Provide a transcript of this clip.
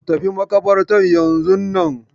Ku tafi makabartar yanzun nan.